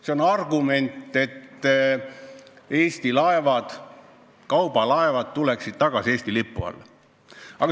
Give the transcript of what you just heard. See on abinõu, et Eesti kaubalaevad tuleksid tagasi Eesti lipu alla.